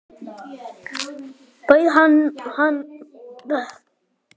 Bauð hann þér?